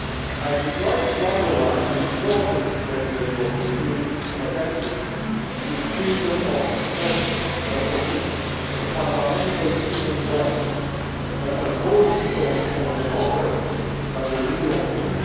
I would like to underline the importance that the European Union attaches to freedom of expression and opinion, a fundamental human right and a cornerstone of democracy and the rule of law.